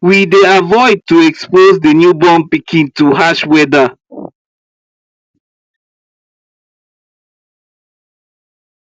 we dey avoid to expose the new born pikin to harsh weather